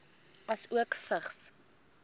asook vigs